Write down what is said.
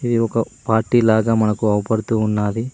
ఒక పార్టీ లాగా మనకు అవుపడుతూ ఉన్నాది.